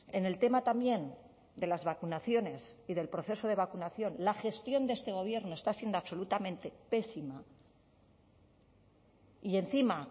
en el tema también de las vacunaciones y del proceso de vacunación la gestión de este gobierno está siendo absolutamente pésima y encima